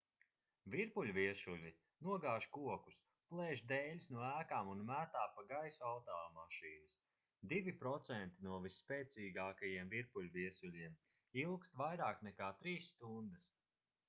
virpuļviesuļi nogāž kokus plēš dēļus no ēkām un metā pa gaisu automašīnas divi procenti no visspēcīgākajiem virpuļviesuļiem ilgst vairāk nekā trīs stundas